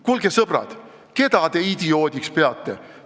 Kuulge, sõbrad, keda te idioodiks peate?